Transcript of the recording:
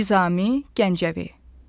Nizami Gəncəvi.